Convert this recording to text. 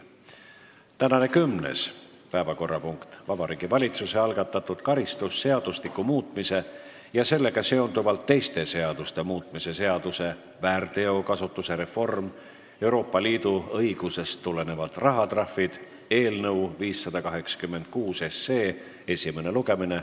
Tänane kümnes päevakorrapunkt on Vabariigi Valitsuse algatatud karistusseadustiku muutmise ja sellega seonduvalt teiste seaduste muutmise seaduse eelnõu 586 esimene lugemine.